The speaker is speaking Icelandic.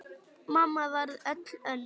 Mamma varð öll önnur.